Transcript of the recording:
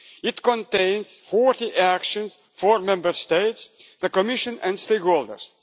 It contains 40 actions for Member States, the Commission and stakeholders.